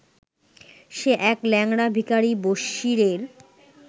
সে এক ল্যাংড়া ভিখারি বসিরের